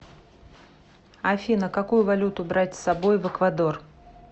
афина какую валюту брать с собой в эквадор